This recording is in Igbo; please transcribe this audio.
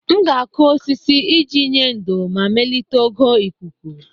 M ga-akụ osisi iji nye ndò ma melite ogo ikuku.